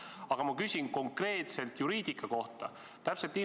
Aga ma küsin konkreetselt juriidika kohta.